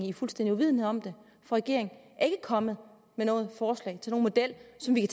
i fuldstændig uvidenhed om det for regeringen er ikke kommet med noget forslag til nogen model som vi